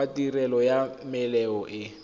wa tirelo ya melemo e